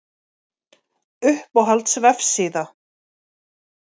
Uppáhalds vefsíða:???